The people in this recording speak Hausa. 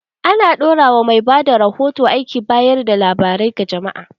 Ana dora wa mai bada rahoto aikin bayar da labarai ga jama’a.